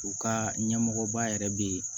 U ka ɲɛmɔgɔba yɛrɛ bɛ yen